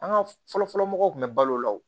An ka fɔlɔ-fɔlɔ mɔgɔw tun bɛ balo o la wo